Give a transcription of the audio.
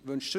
– Nein.